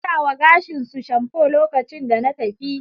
Suna wa gashin su shamfo lokacin da na tafi